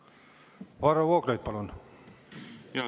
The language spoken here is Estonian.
Varro Vooglaid, palun!